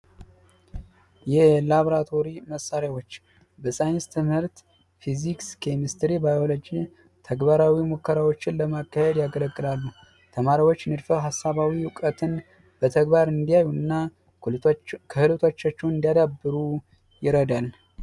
የላብራቶሪ መሳሪያዎች በሳይንስ ትምህርት ፊዚክስ ፣ኬሚስትሪ ፣ባዮሎጂ ተግባራዊ ሙከራዎችን ለማካሄድ ያገለግላሉ። ተማሪዎች ንድፈ ሀሳብን በተግባር እንዲያዩ እና ክህሎታቸው እንዲያዳብሩ ይረዳል።